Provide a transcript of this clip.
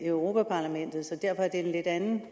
europa parlamentet så derfor er det en lidt anden